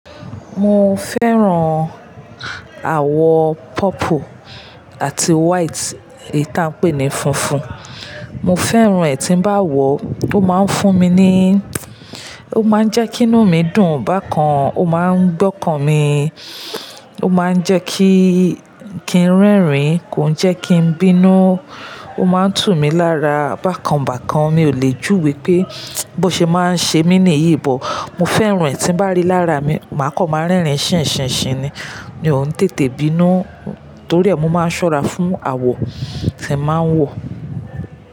Mo fẹ́ràn àwọ̀ purple àti white, èyí ta n pé ní funfun. Mo fẹ́ràn ẹ̀ tí bá wọ̀, ó máa ń fún mi ní, ó máa ń jẹ́ kí inú mi dùn. Bákan, ó máa ń gbọ́kàn mi, ó máa ń jẹ́ kí, kí n rẹ́rìn-ín, kòn jẹ́ kí n bínú, ó máa ń tù mí lára. Bákan bákan mi ò lè júwé pé bó ṣe máa ń ṣe mí ní iyì bọ̀. Mo fẹ́ràn ẹ̀ tí ń bá rí lára mi, màá kọ̀ máa rẹ́rìn-ín ṣinṣinṣin ni. Mi ò ún tètè bínú torí ẹ̀ mo máa ń ṣọ́ra fún àwọ̀ tí ẹ̀ máa ń wọ̀